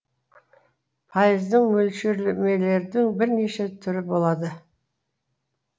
пайыздық мөлшерлемелердің бірнеше түрі болады